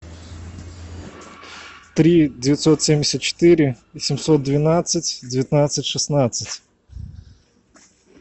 три девятьсот семьдесят четыре семьсот двенадцать девятнадцать шестнадцать